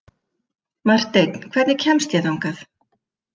Marteinn, hvernig kemst ég þangað?